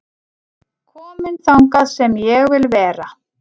Kominn þangað sem ég vil vera